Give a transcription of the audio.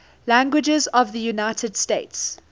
languages of the united states